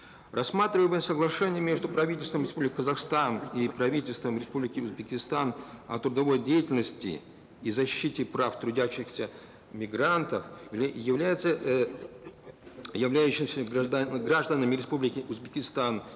рассматриваемое соглашение между правительством республики казахстан и правительством республики узбекистан о трудовой деятельности и защите прав трудящихся мигрантов является эээ являющимся гражданами республики узбекистан